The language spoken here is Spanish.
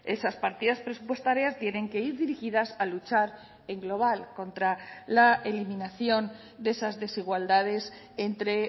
esas partidas presupuestarias tienen que ir dirigidas a luchar en global contra la eliminación de esas desigualdades entre